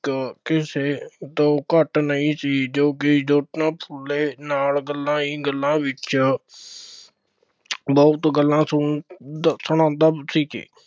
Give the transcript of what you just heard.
ਕਿਸੇ ਤੋਂ ਘੱਟ ਨਹੀਂ ਸੀ, ਜੋ ਕਿ ਜੋਤੀਬਾ ਫੂਲੇ ਨਾਲ ਗੱਲਾਂ ਹੀ ਗੱਲਾਂ ਵਿੱਚ ਬਹੁਤ ਗੱਲਾਂ ਸੁਣ ਦੱਸਣ ਆਉਂਦਾ ਸੀ ਕਿ